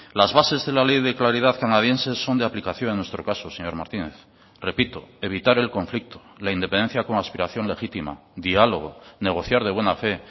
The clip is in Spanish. las bases de la ley de claridad canadiense son de aplicación en nuestro caso señor martínez repito evitar el conflicto la independencia como aspiración legítima diálogo negociar de buena fe